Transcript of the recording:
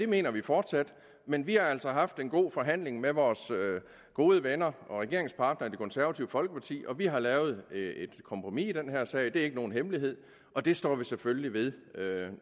mener vi fortsat men vi har altså haft en god forhandling med vores gode venner og regeringspartnere i det konservative folkeparti og vi har lavet et kompromis i den her sag det er ikke nogen hemmelighed og det står vi selvfølgelig ved